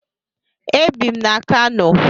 Ebi m na Kano.